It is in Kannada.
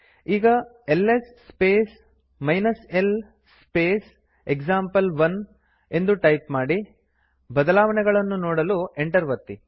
ಈಗ L S space l space example one ಎಂದು ಟೈಪ್ ಮಾಡಿ ಬದಲಾವಣೆಗಳನ್ನು ನೋಡಲು ಎಂಟರ್ ಒತ್ತಿ